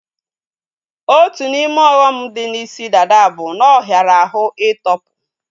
Otu n'ime ọghọm dị na isi dada bụ na ọ hiara ahụ ị tọpu